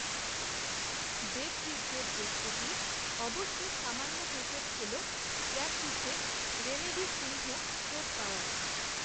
দেবজিতদের প্রস্তুতি অবশ্য সামান্য হোঁচট খেল, প্র্যাকটিসে রেনেডি সিংহ, চোট পাওয়ায়